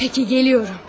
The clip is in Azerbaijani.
Peki gəlirəm.